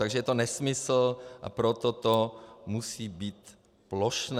Takže je to nesmysl, a proto to musí být plošné.